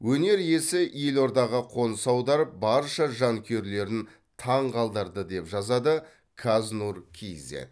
өнер иесі елордаға қоныс аударып барша жанкүйерлерін таңғалдырды деп жазады қаз нұр кейзэт